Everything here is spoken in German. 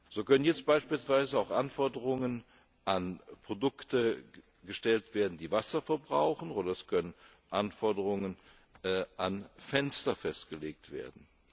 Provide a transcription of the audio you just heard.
So können jetzt beispielsweise auch Anforderungen an Produkte gestellt werden, die Wasser verbrauchen, oder es können Anforderungen an Fenster festgelegt werden.